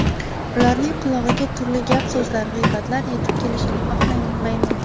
Ularning qulog‘iga turli gap-so‘zlar, g‘iybatlar yetib kelishini xohlamayman.